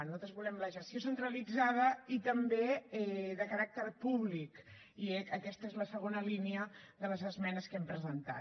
nosaltres volem la gestió centralitzada i també de caràcter públic i aquesta és la segona línia de les esmenes que hem presentat